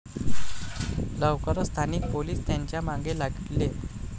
लवकरच स्थानिक पोलीस त्यांच्या मागे लागले.